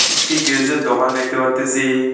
একটি গ্যারেজের দোকান দেখতে পারতেছি।